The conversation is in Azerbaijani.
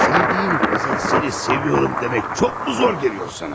Sevdiyin qıza səni sevirəm demək çoxmu çətin gəlir sənə?